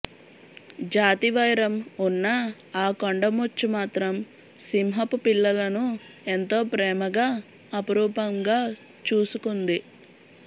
జాతి వైరం ఉన్నా ఆ కొండ ముచ్చు మాత్రం సింహపు పిల్లలను ఎంతో ప్రేమగా అపురూపంగా చూసుకుంది